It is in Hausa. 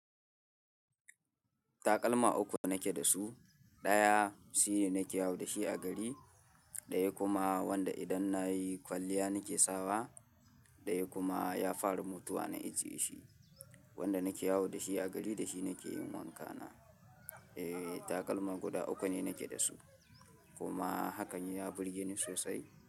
Takalma uku nake da su, ɗaya shine nake yawo da shi a gari, ɗaya kuma wanda idan nayi kwalliya nake sawa, ɗaya kuma ya fara mutuwa na ijiye shi, wanda nake yawo da shi a gari da shi nake yin wanka na. Eh, takalma guda uku ne nake da su kuma hakan ya burge ni sosai.